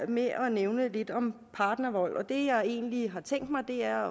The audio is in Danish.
med at nævne lidt om partnervold det jeg egentlig har tænkt mig er